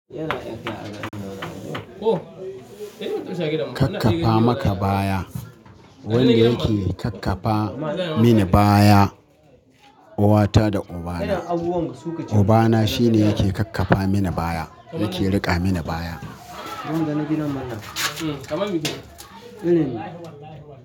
Kak kafa maka baya. Wanda yake kakkafa mini baya uwata da ubana. Ubana shine yake kakkafa mini baya, yake riƙa mini baya.